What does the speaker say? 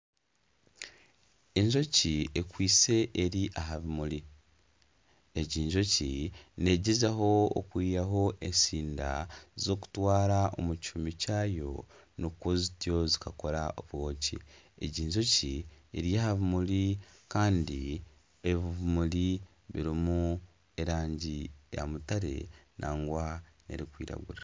Enjoki ekwise eri aha bimuri. Egi njoki neegyezaho okwihaho etsinda z'okutwara omu kihumi kyayo nikwo zityo zikakora obwoki. Egi njoki eri aha bimuri kandi ebimuri birimu erangi ya mutare nangwa n'erikwiragura.